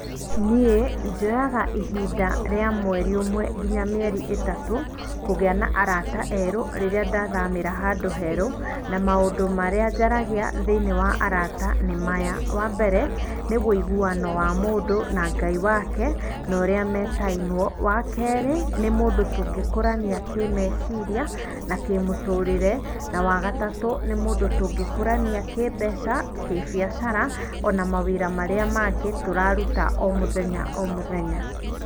Niĩ njoyaga ihinda rĩa mweri ũmwe nginya mĩeri ĩtatũ kũgĩa na arata erũ rĩrĩa ndathamĩra handũ herũ na maũndũ marĩa njaragia thĩiniĩ wa arata nĩ maya. Wa mbere nĩ wĩiguano wa mũndũ na Ngai wake na ũrĩa metainwo. Wa kerĩ nĩ mũndũ tũngĩkũrania kĩmeciria na kĩmũtũrĩre na wagatatũ nĩ mũndũ tũngĩkũrania kĩmbeca, kĩbiacara ona mawĩra marĩa mangĩ tũraruta o mũthenya o mũthenya.